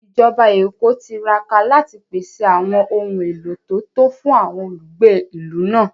Ìjọba Èkó tiraka láti pèsè àwọn ohun èlò tó tó fún àwọn olùgbé ìlú náà